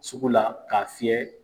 Sugu la ka fiyɛ.